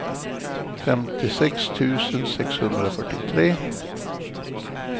femtiosex tusen sexhundrafyrtiotre